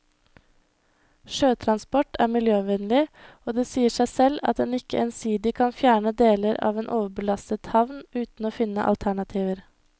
Sjøtransport er miljøvennlig, og det sier seg selv at en ikke ensidig kan fjerne deler av en overbelastet havn uten å finne alternativer.